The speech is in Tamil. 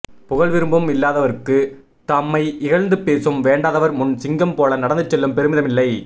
புகழ்விரும்பும் இல் இல்லாதார்க்குத் தம்மை இகழ்ந்து பேசும் வேண்டாதவர் முன் சிங்கம் போல நடந்துசெல்லும் பெருமிதமில்லை